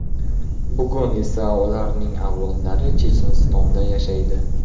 Bugun esa ularning avlodlari Chechenistonda yashaydi.